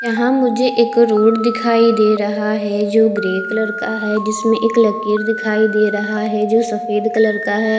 यहां मुझे एक रोड दिखाई दे रहा है जो ग्रे कलर का है जिसमें एक लकीर दिखाई दे रहा है जो सफेद कलर का है।